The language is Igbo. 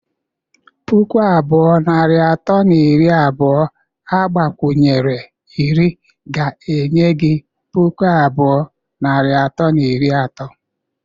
Pụkụ abụọ, narị atọ na iri abụọ agbakwunyere iri ga-enye gị pụkụ abụọ, narị atọ na iri atọ